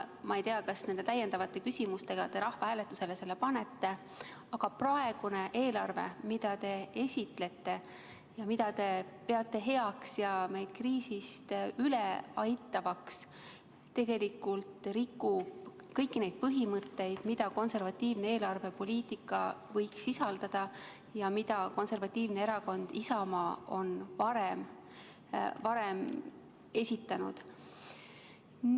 Ma ei tea, kas te nende täiendavate küsimustega selle rahvahääletusele panete, aga praegune eelarve, mida te esitlete ja mida te peate heaks ja meid kriisist üle aitavaks, tegelikult rikub kõiki neid põhimõtteid, mida konservatiivne eelarvepoliitika võiks sisaldada ja mida konservatiivne erakond Isamaa on varem esitanud.